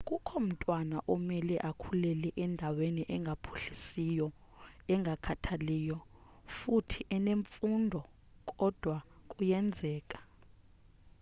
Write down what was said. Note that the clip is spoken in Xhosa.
akukho mtwana omele akhulele endaweni engaphuhlisiyo engakhathaliyo futhi enemfundo kodwa kuyenzeka